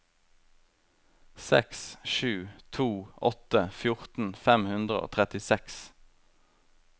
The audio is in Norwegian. seks sju to åtte fjorten fem hundre og trettiseks